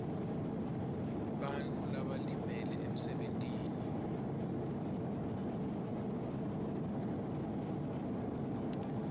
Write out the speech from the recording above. bantfu labalimele emsebentini